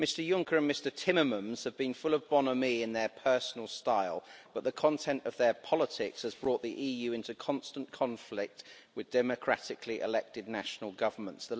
Mr Juncker and Mr Timmermans have been full of bonhomie in their personal style, but the content of their politics has brought the EU into constant conflict with democratically elected national governments.